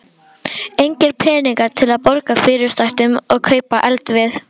Engir peningar til að borga fyrirsætunum og kaupa eldivið.